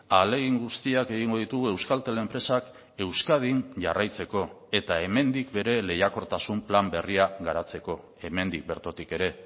ahalegin guztiak egingo ditugu euskaltel enpresak euskadin jarraitzeko eta hemendik bere lehiakortasun plan berria garatzeko hemendik bertotik ere